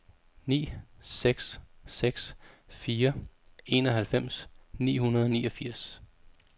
ni seks seks fire enoghalvfems ni hundrede og niogfirs